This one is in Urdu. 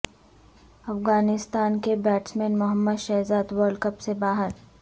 افغانستان کے batsman Mohammad Shahzad world cup سے باہر